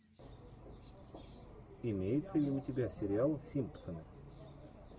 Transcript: имеется ли у тебя сериал симпсоны